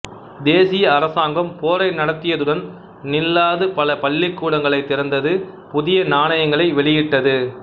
தேசிய அரசாங்கம் போரை நடத்தியதுடன் நில்லாது பல பள்ளிக்கூடங்களைத் திறந்தது புதிய நாணயங்களை வெளியிட்டது